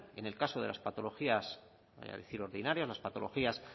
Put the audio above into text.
en el caso de las patologías voy a decir ordinarias las patologías